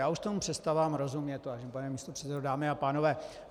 Já už tomu přestávám rozumět, vážený pane místopředsedo, dámy a pánové.